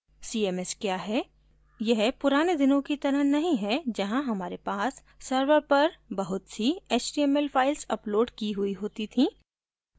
cms क्या है यह पुराने दिनों की तरह नहीं है जहाँ हमारे पास सर्वर पर बहुत सी html फाइल्स अपलोड की हुई होती थीं